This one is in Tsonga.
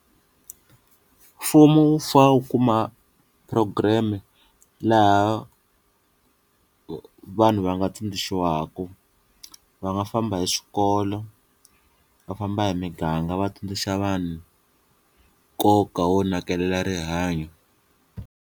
Mfumo wu fane wu kuma program laha vanhu va nga tsundzuxiwaku va nga famba hi swikolo va famba hi miganga va tsundzuxa vanhu nkoka wo nakekela rihanyo.